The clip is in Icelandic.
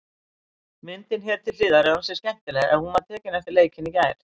Myndin hér til hliðar er ansi skemmtileg en hún er tekin eftir leikinn í gær.